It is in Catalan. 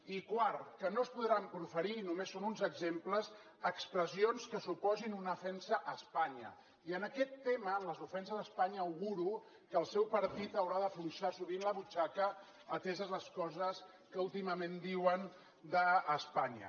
i quarta que no es podran proferir només en són uns exemples expressions que suposin una ofensa a espanya i en aquest tema les ofenses a espanya auguro que el seu partit haurà d’afluixar sovint la butxaca ateses les coses que últimament diuen d’espanya